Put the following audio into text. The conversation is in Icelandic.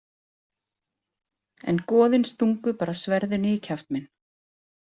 En goðin stungu bara sverðinu í kjaft minn.